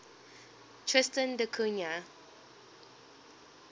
tristan da cunha